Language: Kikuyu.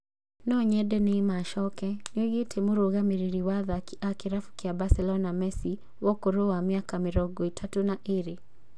Nonyende Neymar a coke nĩoigĩte Mũrũgamĩrĩri wa athaki wa kĩrabu kĩa Barcelona Messi wa ũkũrũ wa mĩaka mĩrongo ĩtatũ na ĩrĩ